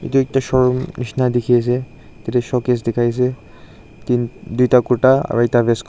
etu ekta showroom nishia dekhi ase tu tu showcase dekhai ase duta kurta aru ekta westcoat .